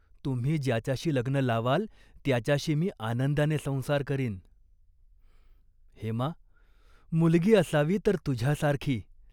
तुम्ही ज्याच्याशी लग्न लावाल त्याच्याशी मी आनंदाने संसार करीन." "हेमा, मुलगी असावी तर तुझ्यासारखी.